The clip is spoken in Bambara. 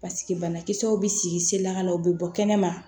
banakisɛw bɛ sigi sen lakana u bɛ bɔ kɛnɛma